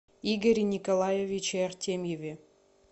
игоре николаевиче артемьеве